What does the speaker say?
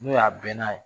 N'o y'a bɛɛ n'a ye